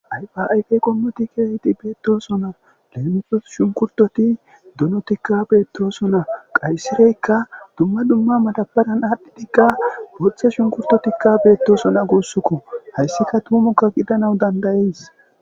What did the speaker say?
Aypaayfe qommotikke hidi beettoosona leemifo shunkurtoti dunotikka beettooso na qaysireykka dumma dumma madabadan aadhdhidikka boththe shunkurtotikka beettosona guussukko hayssika tumukka gidana dandayees